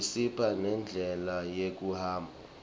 isipha nendlela yekuhamba